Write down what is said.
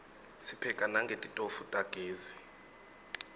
sipheka nangetitofu tagezi